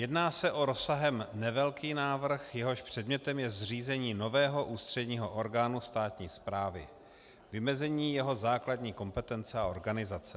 Jedná se o rozsahem nevelký návrh, jehož předmětem je zřízení nového ústředního orgánu státní správy, vymezení jeho základní kompetence a organizace.